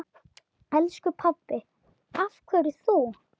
Elsku pabbi, af hverju þú?